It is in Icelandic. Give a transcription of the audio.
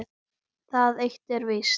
Það eitt er víst.